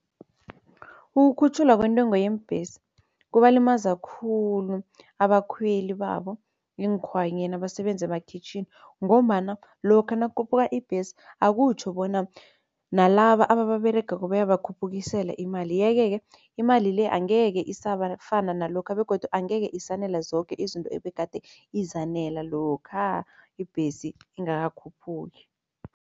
Ukukhutjhulwa kwentengo yeembhesi kubalimaza khulu abakhweli babo eenkhwanyeni abasebenzi emakhwitjhini ngombana lokha nakukhuphuka ibhesi akutjho bona nalaba ababeregako bayabakhuphukisela imali, yeke-ke imali le angeke isafana nalokha begodu angeke isanela zoke izinto ebegade izanela lokha ibhesi ingakakhuphuki.